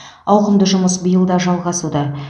ауқымды жұмыс биыл да жалғасуда